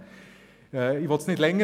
Ich will jedoch nicht verlängern.